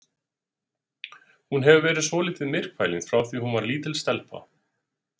Hún hefur verið svolítið myrkfælin frá því að hún var lítil stelpa.